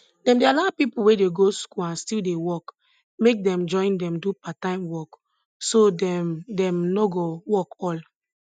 dem dey allow people we dey go school and still dey work make dem join dem do parttime work so dem dem nor go work all